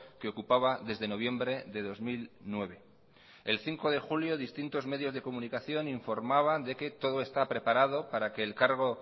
que ocupaba desde noviembre de dos mil nueve el cinco de julio distintos medios de comunicación informaban de que todo está preparado para que el cargo